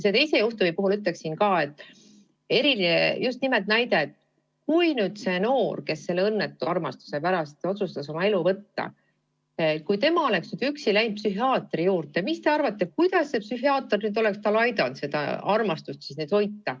Selle teise juhtumi puhul ütleksin samuti, et kui see noor, kes õnnetu armastuse pärast otsustas endalt elu võtta, oleks üksi läinud psühhiaatri juurde, siis mis te arvate, kuidas see psühhiaater oleks aidanud tal seda armastust võita.